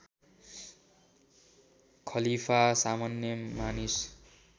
खलीफा सामान्य मानिस